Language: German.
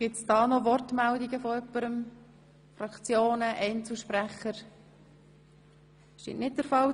Gibt es noch Wortmeldungen dazu seitens der Fraktionen oder von Einzelsprechern?